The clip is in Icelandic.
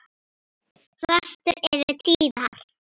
Föstur eru tíðar.